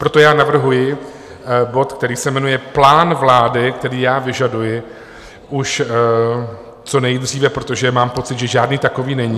Proto já navrhuji bod, který se jmenuje Plán vlády, který já vyžaduji už co nejdříve, protože mám pocit, že žádný takový není...